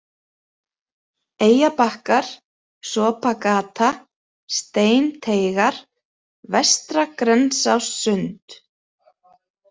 Eyjabakkar, Sopagata, Steinteigar, Vestra-Grensássund